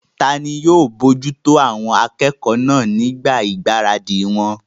Tani yóò bojútó àwọn akẹ́kọ̀ọ́ náà nígbà ìgbáradì wọn?